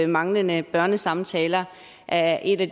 manglende børnesamtaler er en af